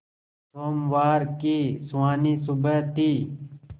सोमवार की सुहानी सुबह थी